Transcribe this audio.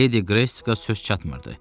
Ledi Qresika söz çatmırdı.